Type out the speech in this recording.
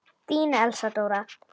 Þín Elsa Dóra.